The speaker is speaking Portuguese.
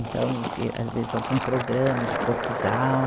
Então, que às vezes, algum programa de Portugal.